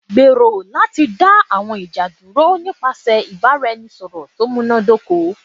Gbero lati da awọn ija duro nipasẹ ibaraẹnisọrọ to munadoko